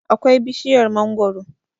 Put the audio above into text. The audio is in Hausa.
akwai bishiyar mangoro